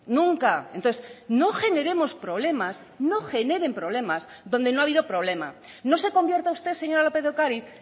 nunca entonces no generemos problemas no generen problemas donde no ha habido problema no se convierta usted señora lópez de ocariz